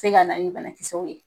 se ka na ni banakisɛw ye.